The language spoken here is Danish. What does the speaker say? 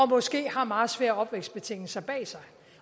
måske har meget svære opvækstbetingelser bag sig